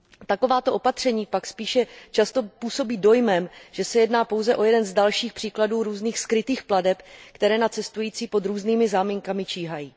Takováto opatření pak spíše často působí dojmem, že se jedná pouze o jeden z dalších příkladů různých skrytých plateb, které na cestující pod různými záminkami číhají.